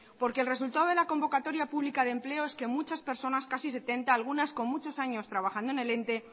porque el resultado de la convocatoria pública de empleo es que personas casi setenta algunas con muchos años trabajando en el ente